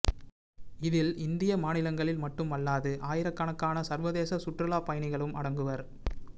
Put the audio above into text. இதில் இந்திய மாநிலங்களில் மட்டுமல்லாது ஆயிரக்கணக்கான சர்வதேச சுற்றுலாப் பயணிகளும் அடங்குவர்